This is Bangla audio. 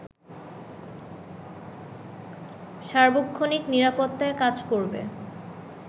সার্বক্ষণিক নিরাপত্তায় কাজ করবে